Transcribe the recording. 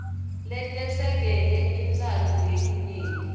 letesekele intsandvo yelinyenti